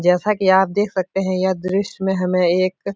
जैसा कि आप देख सकते हैं यह दृश्य में हमें एक --